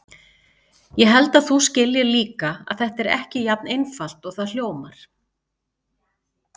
Ég held að þú skiljir líka að þetta er ekki jafn einfalt og það hljómar.